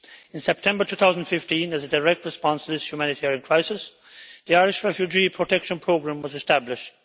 In September 2015, as a direct response to this humanitarian crisis, the Irish Refugee Protection Programme was established.